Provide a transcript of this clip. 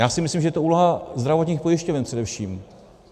Já si myslím, že je to úloha zdravotních pojišťoven především.